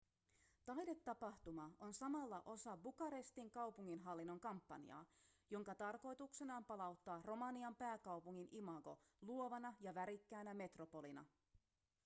taidetapahtuma on samalla osa bukarestin kaupunginhallinnon kampanjaa jonka tarkoituksena on palauttaa romanian pääkaupungin imago luovana ja värikkäänä metropolina